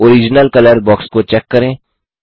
original colour box को check करें